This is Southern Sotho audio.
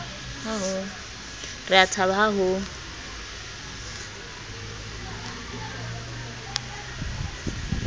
re a thaba ha ho